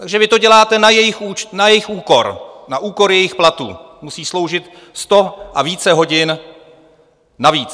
Takže vy to děláte na jejich úkor, na úkor jejich platů, musí sloužit sto a více hodin navíc.